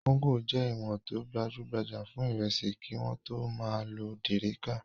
Kóńgò jẹ́ ìwọ̀n tó gbajú-gbajà fún ìrẹsì kí wọ́n tó máa lo dẹ̀ríká.